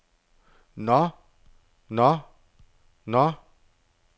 nå nå nå